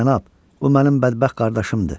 cənab, bu mənim bədbəxt qardaşımdır.